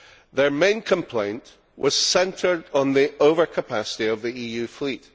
Their main complaint was centred on the overcapacity of the EU fleet.